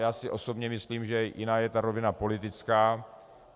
Já si osobně myslím, že jiná je ta rovina politická.